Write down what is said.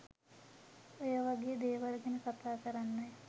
ඔයවගේ දේවල් ගැන කතා කරන්නයි